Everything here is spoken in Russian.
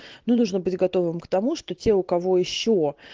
но нужно быть готовым к тому что те у кого ещё